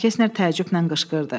cənab Kestner təəccüblə qışqırdı.